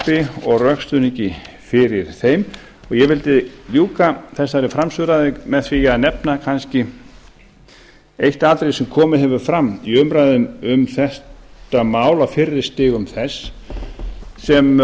frumvarpi og rökstuðningi fyrir þeim og ég vildi ljúka þessari framsöguræðu með því að nefna kannski eitt atriði sem komið hefur fram í umræðum um þetta mál á fyrri stigum þess sem